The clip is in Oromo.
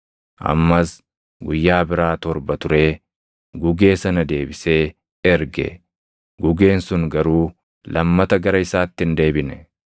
Ammas guyyaa biraa torba turee gugee sana deebisee erge; gugeen sun garuu lammata gara isaatti hin deebine.